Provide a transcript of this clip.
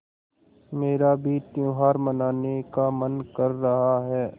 मेरा भी त्यौहार मनाने का मन कर रहा है